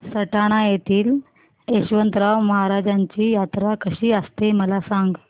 सटाणा येथील यशवंतराव महाराजांची यात्रा कशी असते मला सांग